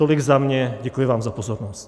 Tolik za mě, děkuji vám za pozornost.